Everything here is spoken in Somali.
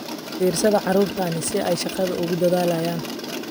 Fiir sada carruurtani sidhaa ay shaqaada ugu dadhalayaan.